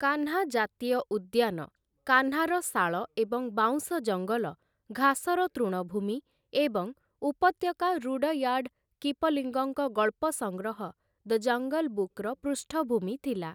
କାହ୍ନା ଜାତୀୟ ଉଦ୍ୟାନ କାହ୍ନାର ଶାଳ ଏବଂ ବାଉଁଶ ଜଙ୍ଗଲ, ଘାସର ତୃଣଭୂମି, ଏବଂ ଉପତ୍ୟକା ରୁଡୟାର୍ଡ଼ କିପଲିଙ୍ଗଙ୍କ ଗଳ୍ପ ସଂଗ୍ରହ 'ଦ ଜଙ୍ଗଲ ବୁକ୍'ର ପୃଷ୍ଠଭୂମି ଥିଲା ।